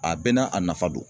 A bɛɛ n'a a nafa don.